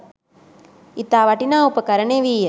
ඉතා වටිනා උපකරණ එවී ය.